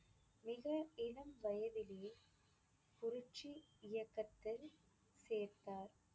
மிக இளம் வயதிலே புரட்சி இயக்கத்தில் சேர்த்தார்.